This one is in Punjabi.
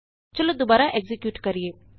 ਚਲੋ ਦੁਬਾਰਾ ਐਕਜ਼ੀਕਿਯੂਟ ਕਰੀਏ